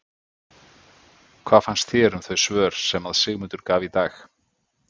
Hvað fannst þér um þau svör sem að Sigmundur gaf í dag?